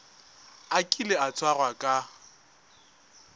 a kile a tshwarwa ka